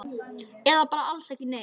Eða bara alls ekki neitt?